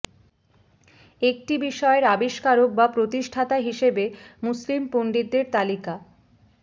একটি বিষয়ের আবিস্কারক বা প্রতিষ্ঠাতা হিসেবে মুসলিম পন্ডিতদের তালিকা